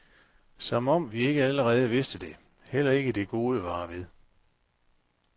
Som om vi ikke allerede vidste det, heller ikke det gode varer ved.